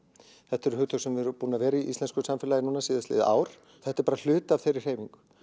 þetta eru hugtök sem við eru búin að vera í íslensku samfélagi síðastliðið ár þetta er bara hluti af þeirri hreyfingu